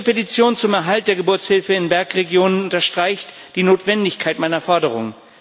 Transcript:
Ihre Petition zum Erhalt der Geburtshilfe in Bergregionen unterstreicht die Notwendigkeit meiner Forderung.